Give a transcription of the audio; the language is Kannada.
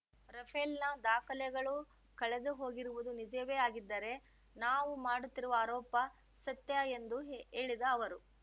ರಫೇಲ್‌ನ ದಾಖಲೆಗಳು ಕಳೆದುಹೋಗಿರುವುದು ನಿಜವೇ ಆಗಿದ್ದರೆ ನಾವು ಮಾಡುತ್ತಿರುವ ಆರೋಪ ಸತ್ಯ ಎಂದು ಹೇ ಹೇಳಿದ ಅವರು